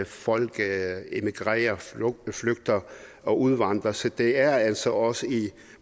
folk emigrerer flygter og udvandrer så det er altså også i